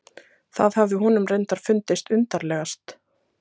Það hafði honum reyndar fundist undarlegast.